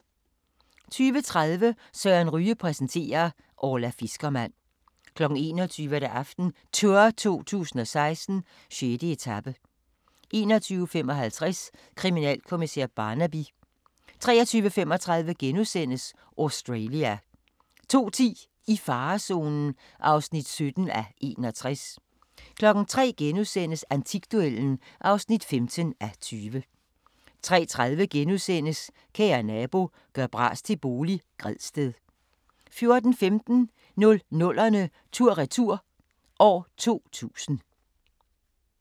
20:30: Søren Ryge præsenterer: Orla fiskermand 21:00: AftenTour 2016: 6. etape 21:55: Kriminalkommissær Barnaby 23:35: Australia * 02:10: I farezonen (17:61) 03:00: Antikduellen (15:20)* 03:30: Kære nabo – gør bras til bolig – Gredsted * 04:15: 00'erne tur-retur: 2000